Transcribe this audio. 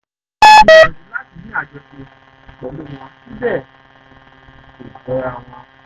àmọ́ mo gbìyànjú láti ní àjọṣe pẹ̀lú wọn síbẹ̀ náà kò jọra wọn